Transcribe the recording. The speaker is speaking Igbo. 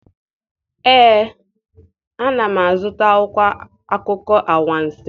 Ee, ana m azụta akwụkwọ akụkọ anwansi.